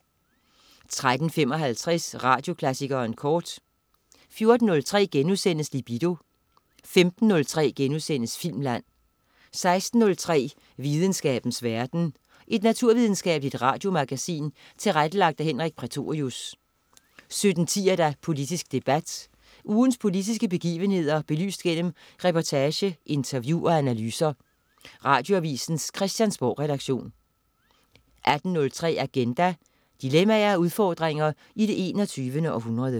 13.55 Radioklassikeren kort 14.03 Libido* 15.03 Filmland* 16.03 Videnskabens verden. Et naturvidenskabeligt radiomagasin tilrettelagt af Henrik Prætorius 17.10 Politisk debat. Ugens politiske begivenheder belyst gennem reportage, interview og analyser. Radioavisens Christiansborgredaktion 18.03 Agenda. Dilemmaer og udfordringer i det 21. århundrede